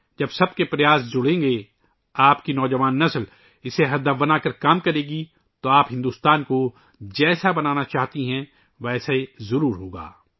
جب سب کی کوششیں شامل ہوں گی، آپ کی نوجوان نسل اسے ایک مقصد بنانے کے لئے کام کرے گی، پھر آپ جس طرح سے ہندوستان بنانا چاہتے ہیں، وہ ضرور بنے گا